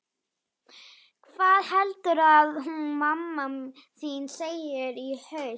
Hvað heldurðu að hún mamma þín segi í haust?